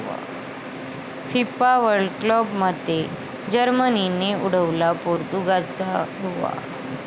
FIFA world कपमध्ये जर्मनीने उडवला पोर्तुगालचा धुव्वा